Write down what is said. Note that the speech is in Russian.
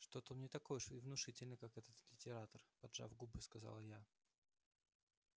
что-то он не такой уж и внушительный как этот литератор поджав губы сказала я